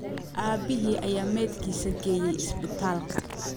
Aabihii ayaa meydkiisa geeyay isbitaalka